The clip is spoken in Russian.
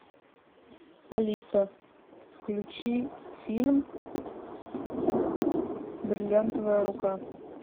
алиса включи фильм бриллиантовая рука